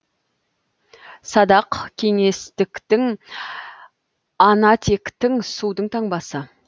садақ кеңестіктің ана тектің судың таңбасы